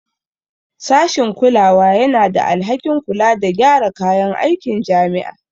Sashin kulawa yana da alhakin kula da gyara kayan aikin jami'a